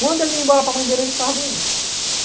Quando ele ia embora para a mãe dele, ele ficava doente.